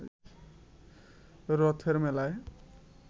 রথের মেলায়